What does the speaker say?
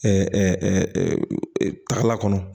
taga kɔnɔ